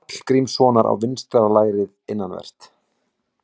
Sturlureyki, Kópareyki og Kleppjárnsreyki.